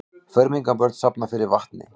Fermingarbörn safna fyrir vatni